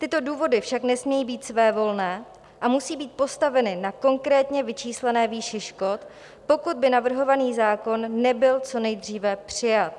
Tyto důvody však nesmějí být svévolné a musí být postaveny na konkrétně vyčíslené výši škod, pokud by navrhovaný zákon nebyl co nejdříve přijat.